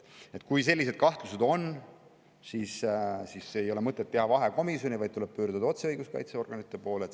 Kui sellised kahtlused on, siis ei ole mõtet teha vahekomisjoni, vaid tuleb pöörduda otse õiguskaitseorganite poole.